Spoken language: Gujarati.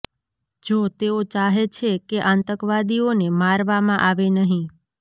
જો તેઓ ચાહે છે કે આતંકવાદીઓને મારવામાં આવે નહીં